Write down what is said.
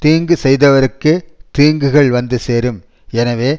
தீங்கு செய்தவருக்கே தீங்குகள் வந்து சேரும் எனவே